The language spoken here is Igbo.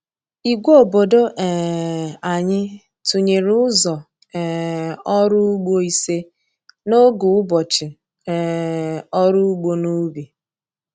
Ìgwè obodo um anyị tụnyere ụzọ um ọrụ ugbo ise n’oge ụbọchị um ọrụ ugbo n’ubi.